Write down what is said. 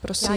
Prosím.